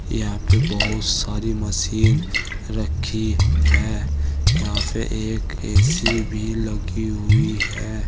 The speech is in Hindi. यहां पे बहुत सारी मशीन रखी है। यहां पे एक ए_सी भी लगी हुई है।